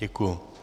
Děkuju.